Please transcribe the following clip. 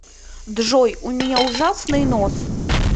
джой у меня ужасный нос